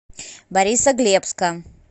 борисоглебска